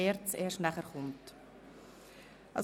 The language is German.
Anschliessend behandeln wir die Themen der ERZ.